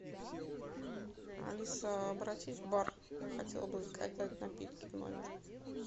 алиса обратись в бар я хотела бы заказать напитки в номер